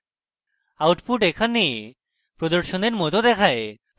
output এখানে প্রদর্শনের মত দেখায়